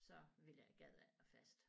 Så ville jeg gad jeg ikke være fast